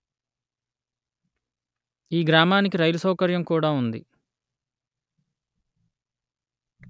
ఈ గ్రామానికి రైలు సౌకర్యము కూడా ఉంది